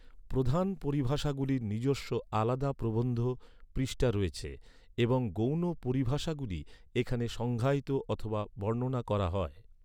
প্রধান পরিভাষাগুলির নিজস্ব আলাদা প্রবন্ধ পৃষ্ঠা রয়েছে, এবং গৌণ পরিভাষাগুলি এখানে সংজ্ঞায়িত অথবা বর্ণনা করা হয়।